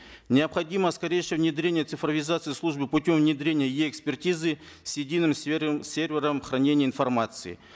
необходимо скорейшее внедрение цифровизации службы путем внедрения е экспертизы с единым сервером хранения информации